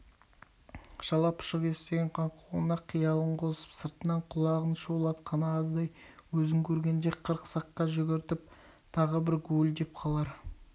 шала-пұшық естіген қаңқуына қиялын қосып сыртынан құлағын шулатқаны аздай өзін көргенде қырық саққа жүгіртіп тағы бір гуілдеп қалар